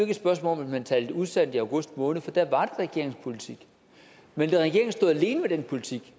et spørgsmål om at man talte usandt i august måned for da var regeringens politik men regeringen stod alene med den politik